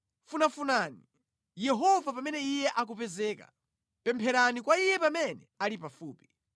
Funafunani Yehova pamene Iye akupezeka. Mupemphere kwa Iye pamene ali pafupi.